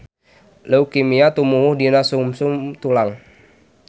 Leukemia tumuwuh dina sungsum tulang.